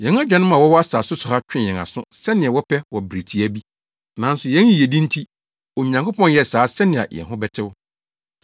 Yɛn agyanom a wɔwɔ asase so ha twee yɛn aso sɛnea wɔpɛ wɔ bere tiaa bi. Nanso yɛn yiyedi nti, Onyankopɔn yɛɛ saa sɛnea yɛn ho bɛtew.